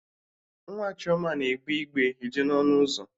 Nwa Chioma na-egbe igbe eje n'ọnụ ụzọ